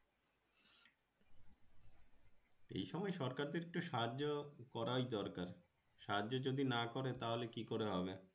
এই সময় সরকার দেড় কটু সাহায্য করাই দরকার। সাহায্য যদি না করে তাহলে কি হরে হবে।